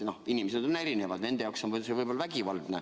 Inimesed on erinevad, nende jaoks on see võib‑olla vägivaldne.